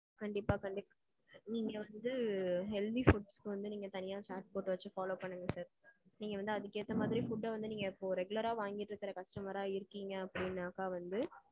கண்டிப்பா sir. நீங்க வந்து healthy foods வந்து நீங்க தனியா chart போட்டு வச்சு follow பண்ணுங்க sir. நீங்க வந்து அதுக்கு ஏத்த மாதிரி food அ வந்து நீங்க இப்போ regular ரா வாங்கிட்டு இருக்குற customer ரா இருக்கீங்க அப்பிடின்னாக்கா, வந்து